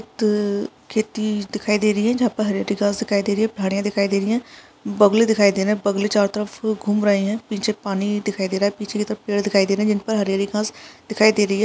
खेत खेती दिखाई दे रही है जहां पर हरे-हरे घास दिखाई दे रही है झाड़ियां दिखाई दे रही हैं। बगुले दिखाई दे रहे है बगुले चारो तरफ घूम रहे पीछे पानी दिखाई दे रहा है पीछे की तरफ पेड़ दिखाई दिखाई दे रहे है जहां पर हरी-हरी घास दिखाई दे रही है।